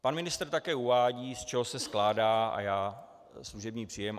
Pan ministr také uvádí, z čeho se skládá služební příjem.